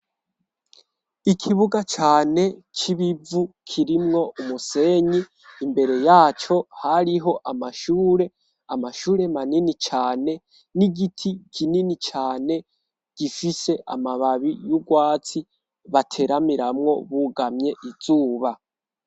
Ikibuga cane c'ibivu kirimwo umusenyi imbere yaco hariho amashure amashure manini cane n'igiti kinini cane gifise amababi y'ubwatsi bateramiramwo bugamye izuba.